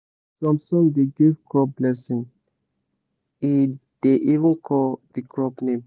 some song da give crop blessing e da even call the crop name